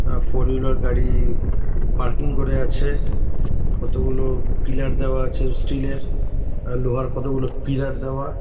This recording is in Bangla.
আ ফোর হুইলার গাড়ি পার্কিং করে আছে। কতগুলো পিলার দেওয়া আছে স্টিল -এর। আ লোহার কতগুলো পিলার দেওয়া।